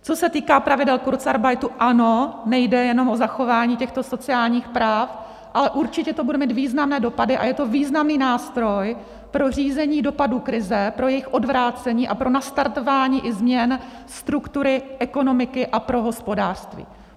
Co se týká pravidel kurzarbeitu, ano, nejde jenom o zachování těchto sociálních práv, ale určitě to bude mít významné dopady a je to významný nástroj pro řízení dopadů krize, pro jejich odvrácení a pro nastartování i změn struktury ekonomiky a pro hospodářství.